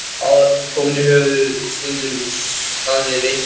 Áður en hún kom höfðu stundum staðið veislur uppi.